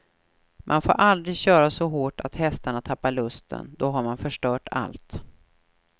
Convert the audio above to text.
Man får aldrig köra så hårt att hästarna tappar lusten, då har man förstört allt.